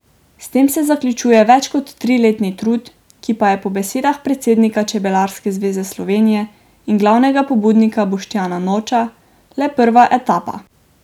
S tem se zaključuje več kot triletni trud, ki pa je po besedah predsednika Čebelarske zveze Slovenije in glavnega pobudnika Boštjana Noča le prva etapa.